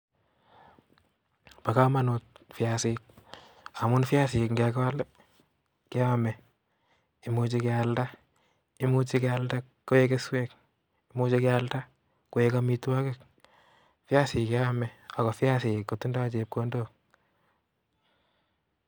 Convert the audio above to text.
Bo komonut viasik. Amun viasik ngekol keome. Imuche kealda koik keswek , imuche kealda koikomitwogik Viasik keome ako viasik kotindo chepkondok.